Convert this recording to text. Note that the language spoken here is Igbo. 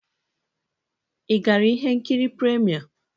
Ị gara ihe nkiri premiere?